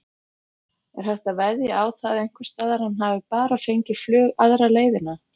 Er hægt að veðja á það einhversstaðar að hann hafi bara fengið flug aðra leiðina?